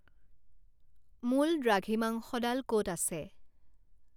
মূল দ্ৰাঘিমাংশডাল ক'ত আছে